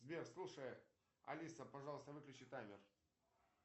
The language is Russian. сбер слушай алиса пожалуйста выключи таймер